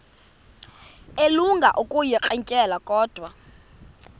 elinga ukuyirintyela kodwa